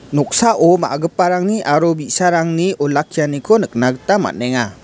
noksao ma·giparangni aro bi·sarangni olakkianiko nikna gita man·enga.